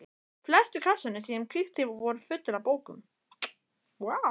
Flestir kassarnir sem ég kíkti í voru fullir af bókum.